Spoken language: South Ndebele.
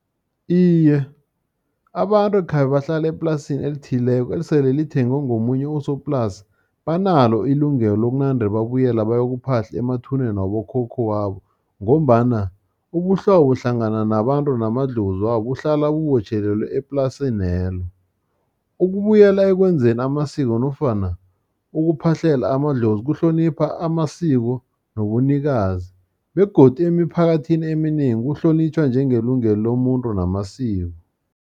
Iye, abantu khabe bahlale eplasini elithileko, esele lithengwe ngomunye usoplasi, banalo ilungelo lokunande babuyela bayokuphahla, emathuneni wabokhokho wabo, ngombana ubuhlobo hlangana nabantu namadlozi wabo, kuhlala bubotjhelelwe eplasinelo. Ukubuyela ekwenzeni amasiko, nofana ukuphahlela amadlozi, kuhlonipha amasiko nobunikazi, begodu emiphakathini eminengi buhlonitjhwa njengelungelo lomuntu namasiko.